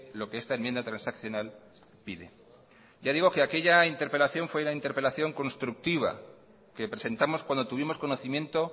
lo que esta enmienda transaccional pide ya digo que aquella interpelación fue la interpelación constructiva que presentamos cuando tuvimos conocimiento